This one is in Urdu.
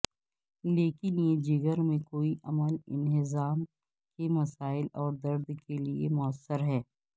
لیکن یہ جگر میں کوئی عمل انہضام کے مسائل اور درد کے لئے موثر ہے